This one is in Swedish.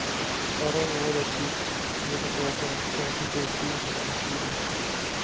Förra året gick det att åka en särskild busslinje mellan museerna.